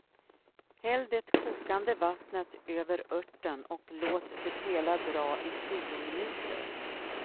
Häll det kokande vattnet över örten och låt det hela dra i tio minuter.